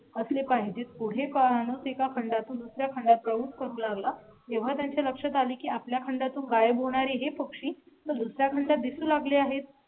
असले पाहिजे पुढे पाहणार नाहीत. एका खंडा तून दुसऱ्या खंडात प्रमुख करू लागला तेव्हा त्यांच्या लक्षात आले की आपल्या खंडा तून गायब होणार हे पक्षी दुसर् या खंडात दिसू लागले आहेत.